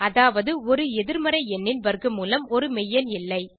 அதாவது ஒரு எதிர்மறை எண்ணின் வர்க்க மூலம் ஒரு மெய்யெண் இல்லை